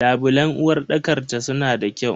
Labulen uwarɗakar ta suna da kyau.